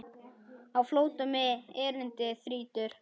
Á flótta mig erindi þrýtur.